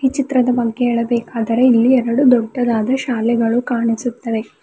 ಚಿತ್ರದ ಬಗ್ಗೆ ಹೇಳಬೇಕಾದರೆ ಇಲ್ಲಿ ಎರಡು ದೊಡ್ಡದಾದ ಶಾಲೆಗಳು ಕಾಣಿಸುತ್ತವೆ.